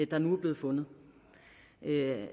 der nu er blevet fundet